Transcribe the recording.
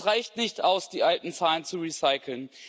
Es reicht nicht aus, die alten Zahlen zu recyceln.